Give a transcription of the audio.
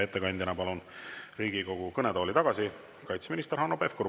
Ettekandjaks palun Riigikogu kõnetooli tagasi kaitseminister Hanno Pevkuri.